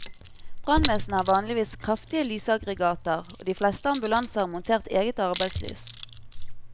Brannvesenet har vanligvis kraftige lysaggregater, og de fleste ambulanser har montert eget arbeidslys.